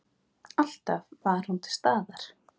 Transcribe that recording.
Alltaf var hún til staðar.